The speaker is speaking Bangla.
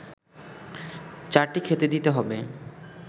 চারটি খেতে দিতে হবে